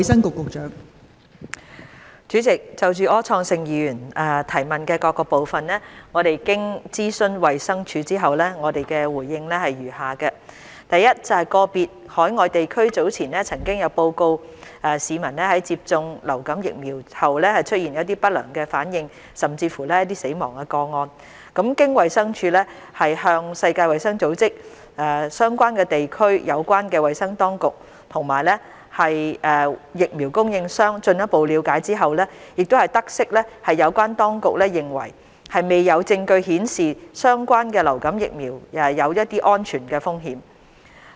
代理主席，就柯創盛議員質詢的各部分，經諮詢衞生署後，我們的答覆如下：一個別海外地區早前曾有報告市民在接種流感疫苗後出現不良反應甚或死亡個案。經衞生署向世界衞生組織、相關地區的有關衞生當局，以及疫苗供應商進一步了解後，得悉有關當局認為未有證據顯示相關流感疫苗有安全風險。